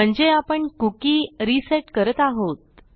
म्हणजे आपण cookie reset करत आहोत